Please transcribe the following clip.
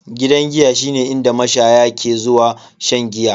Gidan giya shine inda mashaya ke zuwa shan giya.